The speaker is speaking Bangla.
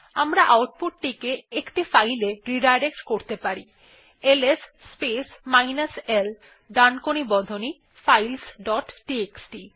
আমরা আউটপুট টিকে একটি ফাইলে রিডাইরেক্ট করতে পারি এলএস স্পেস মাইনাস l ডানকোণী বন্ধনী ফাইলস ডট টিএক্সটি